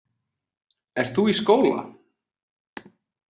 Ert þú í skóla?